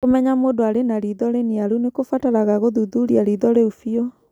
kũmenya mũndũ arĩ na riitho rĩniaru nĩ kũbataraga kũthuthuria riitho rĩu biũ